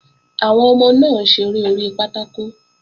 Àwọn ọmọ náà ń ṣeré orí pátákò